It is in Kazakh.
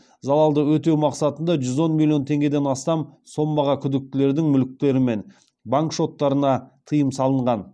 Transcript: залады өтеу мақсатында жүз он миллион теңгеден астам сомаға күдіктілердің мүліктері мен банк шоттарына тыйым салынған